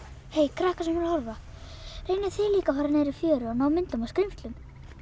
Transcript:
krakkar sem eruð að horfa reynið þið líka að fara niður í fjöru og ná myndum af skrímslum